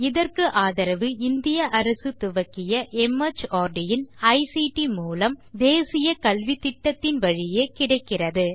இதற்கு ஆதரவு இந்திய அரசு துவக்கிய மார்ட் இன் ஐசிடி மூலம் தேசிய கல்வித்திட்டத்தின் வழியே கிடைக்கிறது